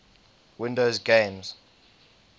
windows games